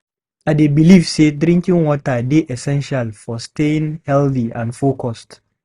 I dey believe say drinking water dey essential for staying healthy and focused.